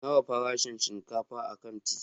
Nawa farashin shinkafa a kanti?